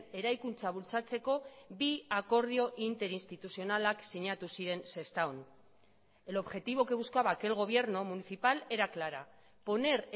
eraikuntza bultzatzeko bi akordio interinstituzionalak sinatu ziren sestaon el objetivo que buscaba aquel gobierno municipal era clara poner